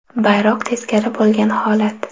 Bayroq teskari bo‘lgan holat.